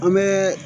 An bɛ